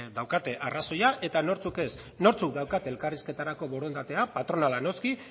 daukaten arrazoia eta nortzuk ez nortzuk daukate elkarrizketarako borondatea patronala noski